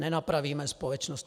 Nenapravíme společnost.